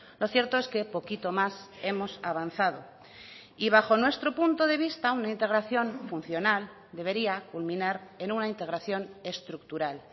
lo cierto es que poquito más hemos avanzado y bajo nuestro punto de vista una integración funcional debería culminar en una integración estructural